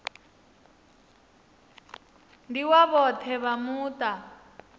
ndi wa vhoṱhe vha muṱa